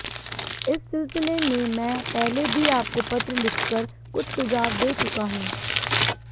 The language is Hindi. इस सिलसिले में मैं पहले भी आपको पत्र लिखकर कुछ सुझाव दे चुका हूं